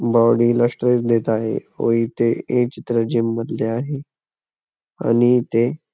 body ला stretch देत आहे व इथे हे चित्र जिम मधले आहे आणि ते --